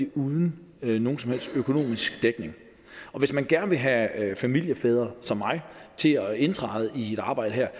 uden nogen som helst økonomisk dækning og hvis man gerne vil have familiefædre som mig til at indtræde i et arbejde her